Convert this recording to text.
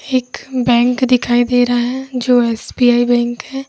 एक बैंक दिखाई दे रहा है जो एस_बी_आई बैंक है।